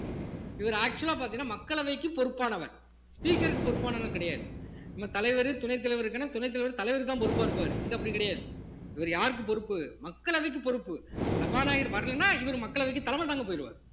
இவரு actual ஆ பார்த்தீங்கன்னா மக்களவைக்கு பொறுப்பானவர் speaker க்கு பொறுப்பானவர் கிடையாது நம்ம தலைவரு துணைத் தலைவருக்குன்னா துணைத் தலைவர் தலைவர்தான் பொறுப்பா இருப்பாரு இங்க அப்படி கிடையாது இவரு யாருக்கு பொறுப்பு மக்களவைக்கு பொறுப்பு சபாநாயகர் வரலேன்னா இவரு மக்களவைக்கு தலைமை தாங்க போயிருவார்